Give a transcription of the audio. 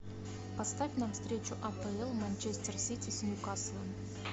поставь нам встречу апл манчестер сити с ньюкаслом